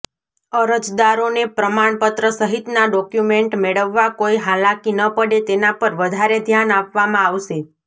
અરજદારોને પ્રમાણપત્ર સહિતના ડોક્યુમેન્ટ મેળવવા કોઇ હાલાકી ન પડે તેના પર વધારે ધ્યાન આપવા આવશે